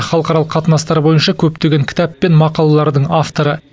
халықаралық қатынастар бойынша көптеген кітап пен мақалалардың авторы